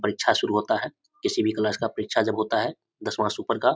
परीक्षा शुरू होता है किसी भी क्लास का परीक्षा जब होता है दसवां से ऊपर का --